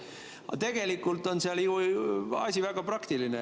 Aga tegelikult on asi väga praktiline.